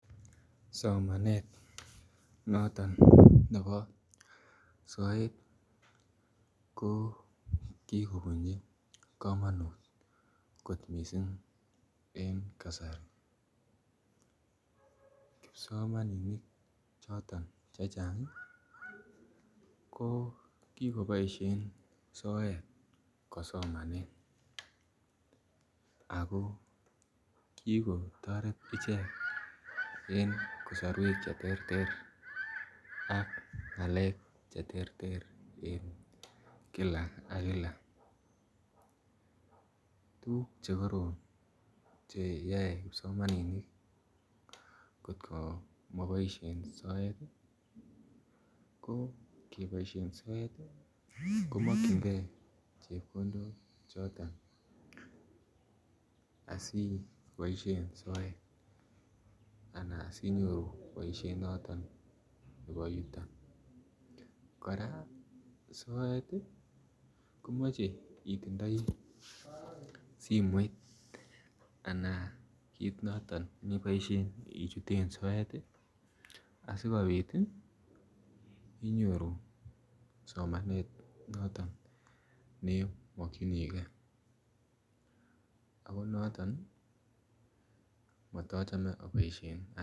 Somanet noton nebo soet ko kikobunji komonut kot mising en kasari kipsomaninik choton chechang ko ki koboisien soet kosomonen ago ki kotoret icheget en komoswek Che terter ak ngalek Che terter en kila ak kila tuguk Che terter Che yae kipsomaninik angot ko Ma boisye soet ko makyin ge chepkondok choton asi ibo soet anan si inyoru boisiet noton nebo yuton kora soet komoche itindoi simoit anan kit noton neboisien ichuten soet asikobit inyoru tuguk choton Che boisien ane komochome aboisien soet